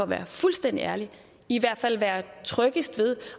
være fuldstændig ærlig i hvert fald være tryggest ved